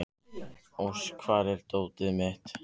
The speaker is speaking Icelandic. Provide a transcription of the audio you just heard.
Ósk, hvar er dótið mitt?